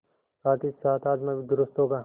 साथहीसाथ हाजमा भी दुरूस्त होगा